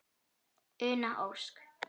Una Ósk.